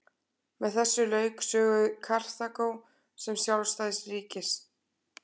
Með þessu lauk sögu Karþagó sem sjálfstæðs ríkis.